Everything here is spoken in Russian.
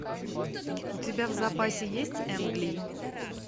у тебя в запасе есть энг ли